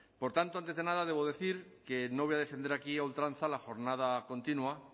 por tanto antes de nada debo decir que no voy a defender aquí a ultranza la jornada continua